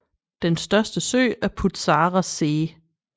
Den største sø er Putzarer See